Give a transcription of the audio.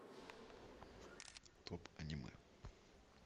топ аниме